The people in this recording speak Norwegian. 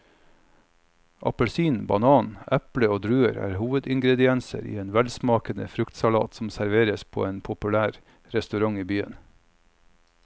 Appelsin, banan, eple og druer er hovedingredienser i en velsmakende fruktsalat som serveres på en populær restaurant i byen.